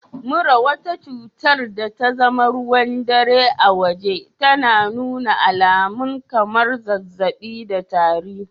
Mura, wata cutar da tazama ruwan dare a waje, tana nuna alamun kamar zazzabi da tari